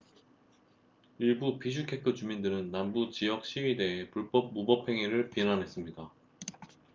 일부 비슈케크 주민들은 남부 지역 시위대의 불법 무법 행위를 비난했습니다